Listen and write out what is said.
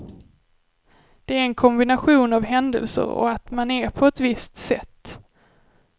Det är en kombination av händelser och att man är på ett visst sätt.